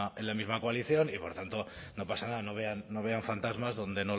en la misma coalición y por tanto no pasa nada no vean fantasmas donde